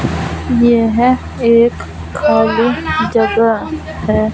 यह एक खाली जगह है।